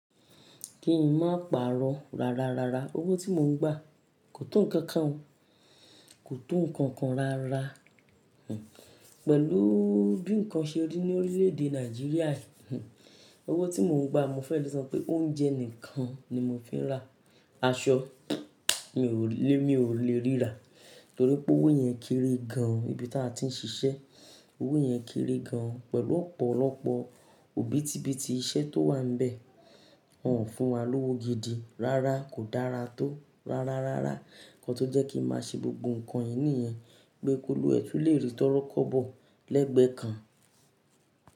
Kí ń má pàrọ̀ rárárárá. Owó tí mò ń gbà kò tó nǹkan kan, kò tó nǹkan kan rárá. Pẹ̀lú bí nǹkan ṣe rí ní orílẹ̀ èdè Nàìjíríà yìí, owó tí mò ń gbà mo fẹ́ lọ san pé oúnjẹ nìkan ni mò ń fi rà. Aṣọ mi ò lè, mi ò lè rí rà torí pé owó yẹn kiri gan. Ibi tí a ti ń ṣiṣẹ́ owó yẹn kiri gan pẹ̀lú ọ̀pọ̀lọpọ̀ òbítíbitì iṣẹ́ tó wà bẹ. Wọ́n ò fún wa lówó gidi rárá kò dára tó rárárárá. Ǹkan tó jẹ́ kí ń má ṣe gbogbo nǹkan yìí nìyẹn pé kólú ẹtù lè rí tọ́rọ́ kọ́ bọ̀ lẹ́gbẹ̀ẹ́ kan.